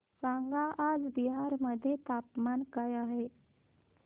सांगा आज बिहार मध्ये तापमान काय आहे